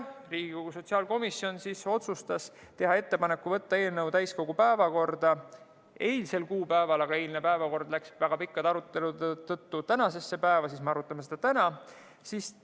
Riigikogu sotsiaalkomisjon otsustas teha ettepaneku võtta eelnõu täiskogu päevakorda eilseks kuupäevaks, aga kuna osa eilsest päevakorrast läks väga pikkade arutelude tõttu tänasesse päeva, siis me arutame seda täna.